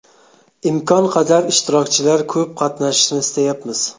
Imkon qadar ishtirokchilar ko‘p qatnashishini istayapmiz.